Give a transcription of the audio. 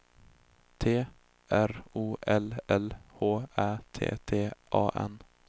T R O L L H Ä T T A N